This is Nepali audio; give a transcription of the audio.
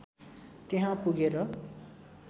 त्यहाँ पुगेर